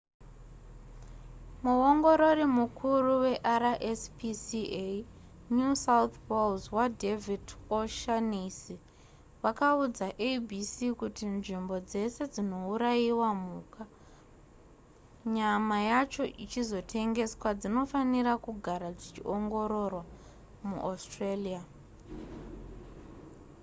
muongorori mukuru werspca new south wales vadavid o'shannessy vakaudza abc kuti nzvimbo dzese dzinourayirwa mhuka nyama yacho ichizotengeswa dzinofanira kugara dzichiongororwa muaustralia